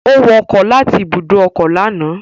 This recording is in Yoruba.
Ó wọ ọkọ̀ láti ibùdó ọkọ̀ lánàá